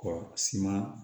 Kɔ suman